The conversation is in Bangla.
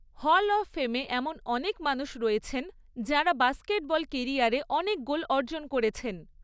হল অফ ফেমে এমন অনেক মানুষ রয়েছেন যাঁরা বাস্কেটবল কেরিয়ারে অনেক গোল অর্জন করেছেন।